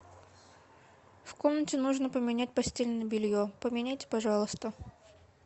в комнате нужно поменять постельное белье поменяйте пожалуйста